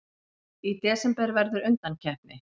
Í desember verður undankeppni.